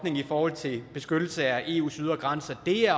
i forhold til beskyttelse af eus ydre grænser dér